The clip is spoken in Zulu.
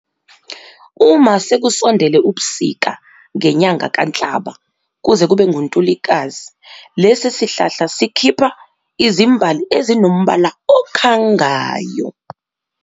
Uma sekusondele ubusika ngenyanga kaNhlaba kuze kube nguNtulikazi lesi sihlahla sikhipha izimbali ezinombala okhangayo.